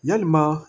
Yalima